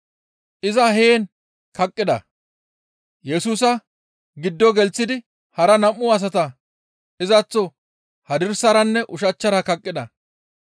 Iza heen kaqqida. Yesusa giddo gelththidi hara nam7u asata izaththo hadirsaranne ushachchara kaqqida.